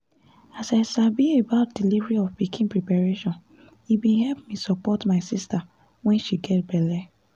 as i sabi about delivery of pikin preparation e bin help me support my sister when she get belle